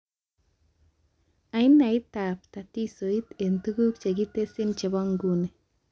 Ainaitab tatisoit eng tuguk chekitesyi chebo nguni